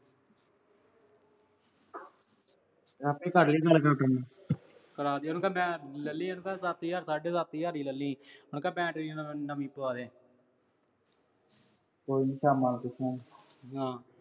ਆਪੇ ਕਰਾ ਦੇ। ਉਹਨੂੰ ਕਹਿ ਬੈ ਅਹ ਲੈ ਲਈ ਉਹਨੂੰ ਕਹਿ ਸੱਤ ਹਜ਼ਾਰ, ਸਾਢੇ ਸੱਤ ਹਜ਼ਾਰ ਹੀ ਲੈ ਲੀਂ। ਉਹਨੂੰ ਕਹਿ battery ਨਵੀਂ ਪਵਾ ਦੇ। ਕੋਈ ਨੀ ਸ਼ਾਮਾਂ ਨੂੰ ਪੁੱਛੂ ਉਹਨੂੰ। ਹਾਂ